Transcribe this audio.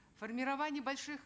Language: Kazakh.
формирование больших